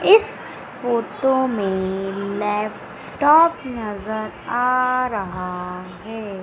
इस फोटो मे लैपटॉप नज़र आ रहा है।